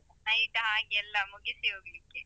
Night ಆಗಿ ಎಲ್ಲ ಮುಗಿಸಿ ಹೋಗ್ಲಿಕ್ಕೆ.